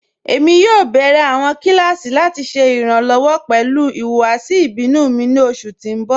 Ẹ̀mi yóò bẹ̀rẹ̀ awọn kilasí lati ṣẹ iranlọ́wọ pẹlu ihuwasi ibinu mi ni oṣù tí n bọ̀.